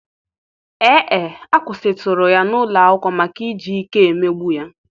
Ee e, a kwụsịtụrụ ya n'ụlọ akwụkwọ maka iji ike emegbu ya.